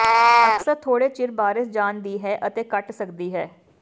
ਅਕਸਰ ਥੋੜ੍ਹੇ ਚਿਰ ਬਾਰਸ਼ ਜਾਣ ਦੀ ਹੈ ਅਤੇ ਘਟ ਸਕਦੀ ਹੈ